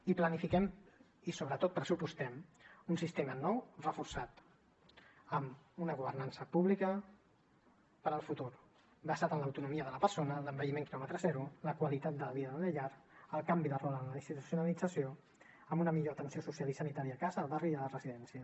i planifiquem i sobretot pressupostem un sistema nou reforçat amb una governança pública per al futur basat en l’autonomia de la persona l’envelliment quilòmetre zero la qualitat de vida de la llar el canvi de rol en la institucionalització amb una millor atenció social i sanitària a casa al barri i a la residència